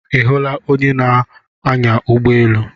Ị hụla onye na-anya ụgbọ elu a?